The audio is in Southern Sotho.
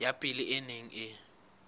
ya pele e neng e